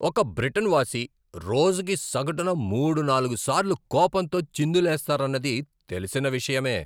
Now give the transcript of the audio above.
ఒక బ్రిటన్ వాసి రోజుకు సగటున మూడు, నాలుగు సార్లు కోపంతో చిందులేస్తారన్నది తెలిసిన విషయమే.